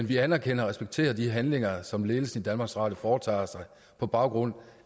vi anerkender og respekterer de handlinger som ledelsen i danmarks radio foretager sig på baggrund